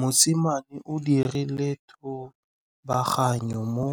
Mosimane o dirile thubaganyô mo